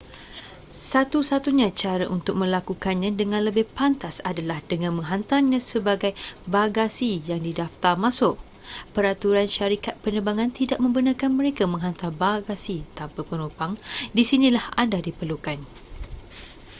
satu satunya cara untuk melakukannya dengan lebih pantas adalah dengan menghantarnya sebagai bagasiyang didaftar masuk peraturan syarikat penerbangan tidak membenarkan mereka menghantar bagasi tanpa penumpang di sinilah anda diperlukan